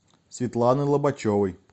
светланы лобачевой